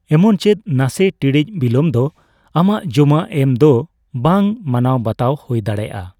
ᱮᱢᱚᱱᱪᱮᱫ ᱱᱟᱥᱮᱹ ᱴᱤᱲᱤᱡ ᱵᱤᱞᱚᱢ ᱫᱚ ᱟᱢᱟᱜ ᱡᱚᱢᱟ ᱮᱢ ᱫᱚ ᱵᱟᱝ ᱢᱟᱱᱟᱣ ᱵᱟᱛᱟᱣ ᱦᱳᱭ ᱫᱟᱲᱮᱹᱭᱟᱜᱼᱟ ᱾